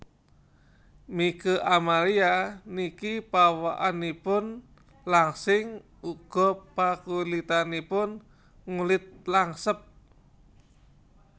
Mieke Amalia niki pawakanipun langsing uga pakulitanipun ngulit langsep